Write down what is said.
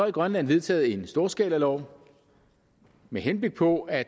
i grønland vedtaget en storskalalov med henblik på at